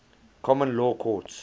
common law courts